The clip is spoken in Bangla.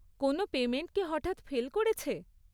কোনও পেমেন্ট কি হঠাৎ ফেল করেছে?